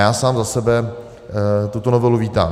Já sám za sebe tuto novelu vítám.